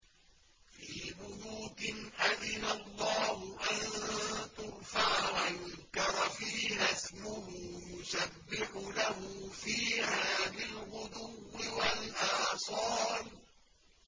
فِي بُيُوتٍ أَذِنَ اللَّهُ أَن تُرْفَعَ وَيُذْكَرَ فِيهَا اسْمُهُ يُسَبِّحُ لَهُ فِيهَا بِالْغُدُوِّ وَالْآصَالِ